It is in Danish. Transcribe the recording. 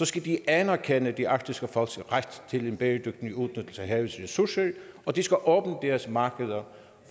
skal de anerkende de arktiske folks ret til en bæredygtig udnyttelse af havets ressourcer og de skal åbne deres markeder